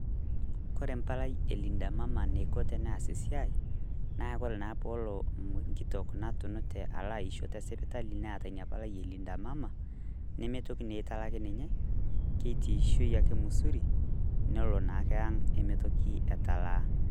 Kore embalai elinda Mama eneiko teneas esiai naa kore naa peelo enkitok natunute alo aisho tesipitali Neeta Ina palai elinda Mama, nemeitoki naa aitalak ninye keitiishei ake misuri nelo naake ang' eme toki etalaa.